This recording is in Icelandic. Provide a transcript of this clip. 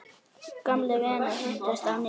Gamlir vinir hittast á ný.